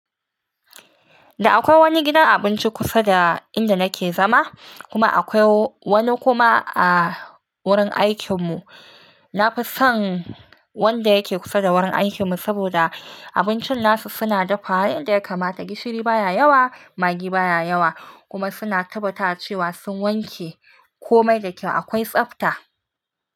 Da akwai wani gidan abinci kusa da inda nake zama kuma akwai wani kuma a wurin aikin mu. Na fi son wanda yake kusa da wurin aikin mu saboda abincin nasu suna dafa yanda ya kamata. Gishiri baya yawa, magi baya yawa kuma suna tabbatawa cewa sun wanke komai da kyau. Akwai tsabta.